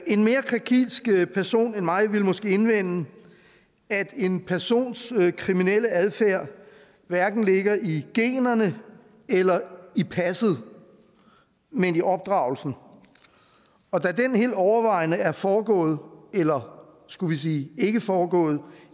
en mere krakilsk person end mig ville måske indvende at en persons kriminelle adfærd hverken ligger i generne eller i passet men i opdragelsen og da den helt overvejende er foregået eller skulle vi sige ikke foregået